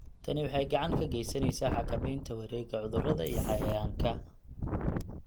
Tani waxay gacan ka geysaneysaa xakameynta wareegga cudurrada iyo cayayaanka.